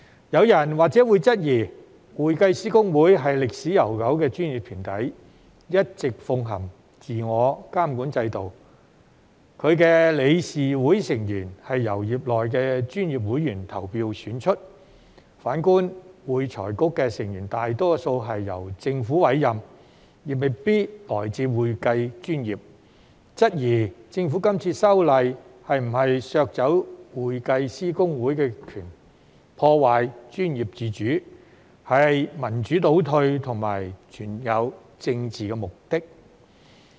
有人或會質疑，會計師公會是歷史悠久的專業團體，一直奉行自我監管制度，其理事會成員是由業內專業會員投票選出；反觀會財局的成員大多數是由政府委任，亦未必來自會計專業，質疑政府今次修例是否要削走會計師公會的權力，破壞專業自主，是民主倒退和存在政治目的。